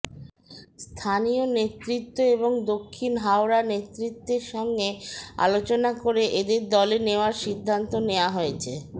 স্থানীয় নেতৃত্ব এবং দক্ষিণ হাওড়া নেতৃত্বের সঙ্গে আলোচনা করে এদের দলে নেওয়ার সিদ্ধান্ত নেওয়া হয়েছে